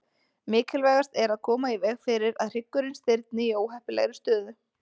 Mikilvægast er að koma í veg fyrir að hryggurinn stirðni í óheppilegri stöðu.